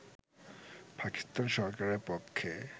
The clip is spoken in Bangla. পাকিস্তান সরকারের পক্ষে